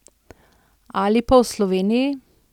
Ali pa o Sloveniji?